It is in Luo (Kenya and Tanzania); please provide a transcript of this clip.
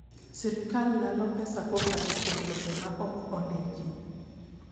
Sirkal lalo pesa kokalo kuom lope ma ok ondiki.